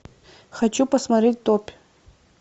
хочу посмотреть топь